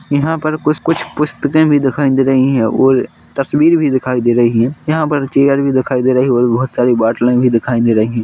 यहाँ पर कुछ-कुछ पुस्तके भी दिखाई दे रही हैं और तस्वीर भी दिखाई दे रही हैं यहाँ पर चेयर भी दिखाई दे रही हैं और बहोत सारी बाटले भी दिखाई दे रही हैं।